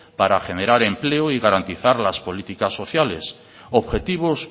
para generar empleo y garantizar las políticas sociales objetivos